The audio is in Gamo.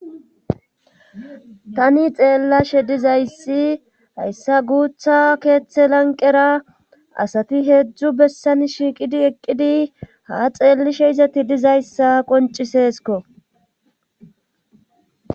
tani xeellashe dizayssi hayssa guutha keeththe lanqera asati heedzdzu bessani shiiqidi eqqidi ha xeellishe izeti dizayssa qoncciseeskko.